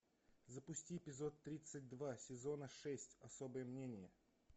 запусти эпизод тридцать два сезона шесть особое мнение